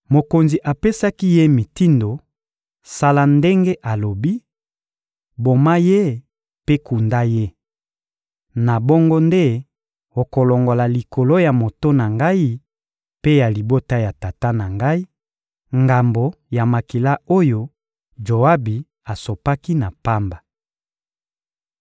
Mokonzi apesaki ye mitindo: — Sala ndenge alobi; boma ye mpe kunda ye. Na bongo nde okolongola likolo ya moto na ngai mpe ya libota ya tata na ngai, ngambo ya makila oyo Joabi asopaki na pamba.